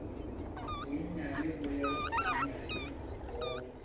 bonnyane bo ya bonnyane go